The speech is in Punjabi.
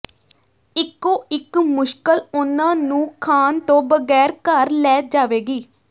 ਇਕੋ ਇਕ ਮੁਸ਼ਕਲ ਉਨ੍ਹਾਂ ਨੂੰ ਖਾਣ ਤੋਂ ਬਗੈਰ ਘਰ ਲੈ ਜਾਵੇਗੀ